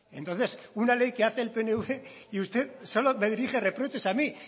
entonces una ley que hace el pnv y usted solo me dirige reproches a mí